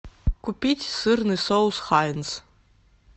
купить сырный соус хайнц